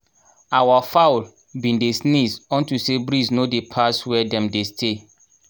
our fowl been dey sneeze unto say breeze no dey pass where dem dey stay